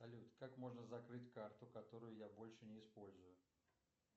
салют как можно закрыть карту которую я больше не использую